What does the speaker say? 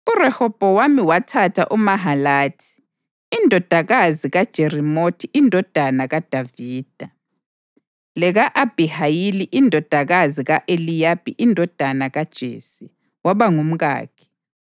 URehobhowami wathatha uMahalathi, indodakazi kaJerimothi indodana kaDavida, leka-Abhihayili indodakazi ka-Eliyabi indodana kaJese, waba ngumkakhe,